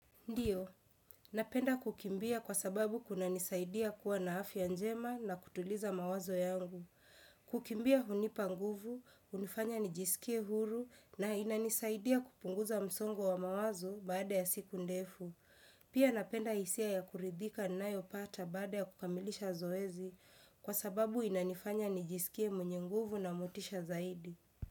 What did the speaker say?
Ndiyo, napenda kukimbia kwa sababu kunanisaidia kuwa na afya njema na kutuliza mawazo yangu. Kukimbia hunipa nguvu, unifanya nijisikie huru na inanisaidia kupunguza msongo wa mawazo baada ya siku ndefu. Pia napenda isia ya kuridhika ninayopata baada ya kukamilisha zoezi kwa sababu inanifanya nijisikie mwenye nguvu na mutisha zaidi.